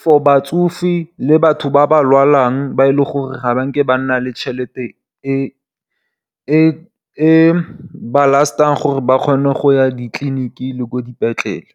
for batsofe le batho ba ba lwalang ba leng gore ga ba nke ba nna le tšhelete e e ba lastang gore ba kgone go ya ditliliniking le ko dipetlele.